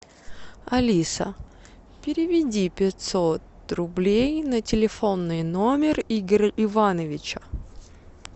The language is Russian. алиса переведи пятьсот рублей на телефонный номер игоря ивановича